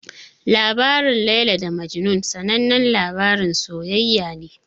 Labarin Laila da Majnun sanannen labarin soyayya ne.